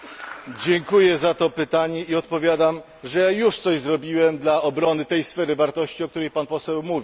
Dziękuję za to pytanie i odpowiadam, że już coś zrobiłem dla obrony tej sfery wartości, o której Poseł mówi.